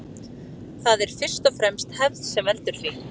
Það er fyrst og fremst hefð sem veldur því.